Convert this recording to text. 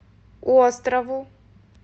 острову